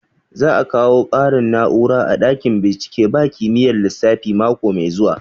Za a kawo ƙarin na'ura a ɗakin bincike ba kimiyyar lissafi mako mai zuwa